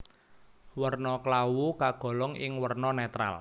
Werna klawu kagolong ing werna netral